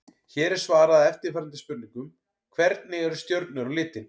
Hér er svarað eftirfarandi spurningum: Hvernig eru stjörnur á litinn?